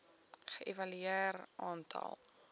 ge evalueer aantal